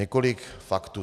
Několik faktů.